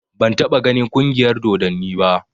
Ban taɓa ganin ƙungiyar dodanni ba